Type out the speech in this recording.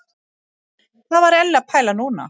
Hvað var Elli að pæla núna?